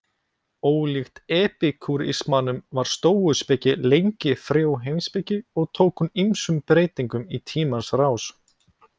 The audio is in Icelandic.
Ólíkt epikúrismanum var stóuspeki lengi frjó heimspeki og tók hún ýmsum breytingum í tímans rás.